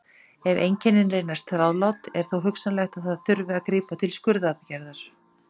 Ef einkennin reynast þrálát er þó hugsanlegt að þurfi að grípa til skurðaðgerðar.